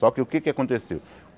Só que o que é que aconteceu?